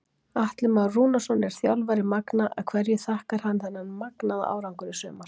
Atli Már Rúnarsson er þjálfari Magna en hverju þakkar hann þennan magnaða árangur í sumar?